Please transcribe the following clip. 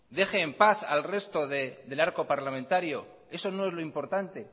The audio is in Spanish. deje en paz al resto del arco parlamentario eso no es lo importante